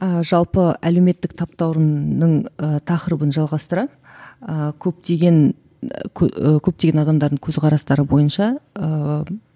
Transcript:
ы жалпы әлеуметтік таптауырыннның ы тақырыбын жалғастыра ыыы көптеген і көптеген адамдардың көзқарастары бойынша ыыы